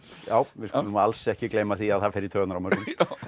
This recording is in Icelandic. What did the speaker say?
við skulum alls ekki gleyma því að það fer í taugarnar á mörgum